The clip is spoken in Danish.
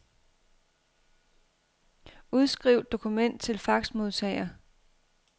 Udskriv dokument til faxmodtager.